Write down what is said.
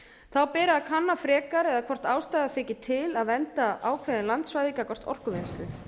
þá beri að kanna frekar eða hvort ástæða þyki til að vernda ákveðin landsvæði gagnvart orkuvinnslu